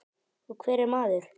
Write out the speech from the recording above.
Og hver er maður?